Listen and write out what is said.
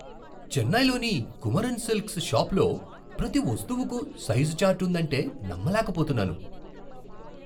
చెన్నైలోని కుమరన్ సిల్క్స్ షాపులో ప్రతి వస్తువుకు సైజు చార్ట్ ఉందంటే నమ్మలేకపోతున్నాను.